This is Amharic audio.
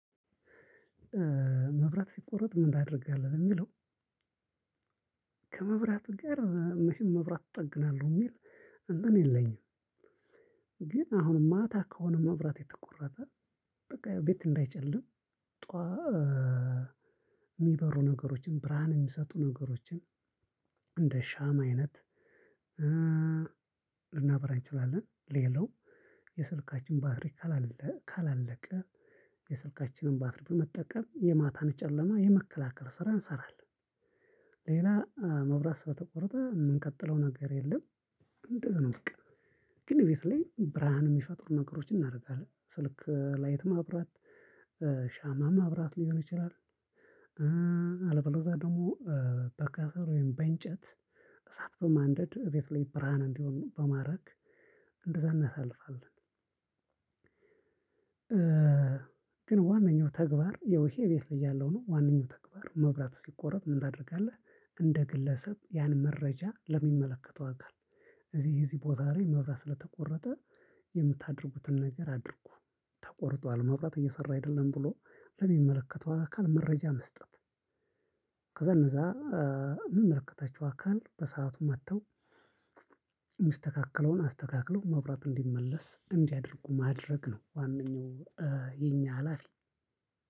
መብራት ሲቆረጥ ምን ታደርጋለህ ለሚለው? ከመብራት ጋር መቼም መብራት እጠግናለሁ የሚል እንትን የለኝም። ግን አሁን ማታ ከሆነ መብራት የተቆረጠ ቤት እንዳይጨልም ጠዋ የሚበሩ ነገሮችን ብርሃን የሚሰጡ ነገሮችን እንደ ሻማ አይነት ልናብራ እንችላለን። ሌላው የስልካችን ባትሪ ካላለቀ የስልካችንን ባትሪ በመጠቀም የማታን ጨለማ የመከላከል ስራ እንሰራለን። ሌላ መብራት ስለተቆረጠ የምንቀጥለው ነገር የለም እንደዚህ ነው። በቃ ግን እቤት ላይ ብርሃን የሚፈጥሩ ነገሮችን እናደርጋለን ስልክ ላይት ማብራት ሻማ ማብራት ሊሆን ይችላል። አለበለዛ ደግሞ በከሰል ወይም በእንጨት እሳት በማንደድ እቤት ላይ ብርሃን እንዲሆን በማድረግ እንደዛ እናሳልፋለን። ግን ዋነኛው ተግባር የው ይሄ ቤት ላይ ያለው ነው ዋነኛው ተግባር መብራት ሲቆረጥ ምን ታደርጋለህ? እንደ ግለሰብ ያን መረጃ ለሚመለከተው አካል እዚህ እዚህ ቦታ ላይ መብራት ስለተቆረጠ የምታደርጉትን ነገር አድርጉ ተቆርጧል መብራት እየሰራ አይደለም ብሎ ለሚመለከተው አካል መረጃ መስጠት። ከዛ እነዛ እሚመለከታቸው አካል በሰአቱ መጥተው እሚስተካከለውን አስተካክለው መብራት እንዲመለስ እንዲያደርጉ ማድረግ ነው። ዋነኛው የኛ ሀላፊ